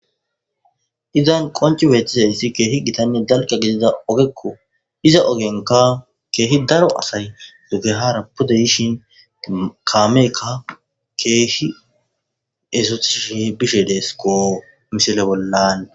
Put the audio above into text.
izan qonci beeththizayssi keehi gitanne dalga gidida ogekko iza ogenka keehi daro asay dugehara pudda yishin kaameeyikka keehishi ezuthishi bishe deesko misile bollan